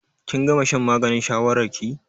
Kin gama shan maganin shawarar ki?